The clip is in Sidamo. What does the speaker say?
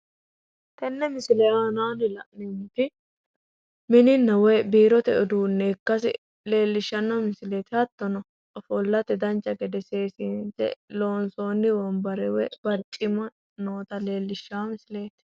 Tenne misile aanaanni la'neemmoti mininna woyi biirote uduunne ikkase leellishshanno misileeti. Hattono ofollate dancha gede seesiinse loonsoonni wonbare woyi barcimma noota leellishshanno misileeti.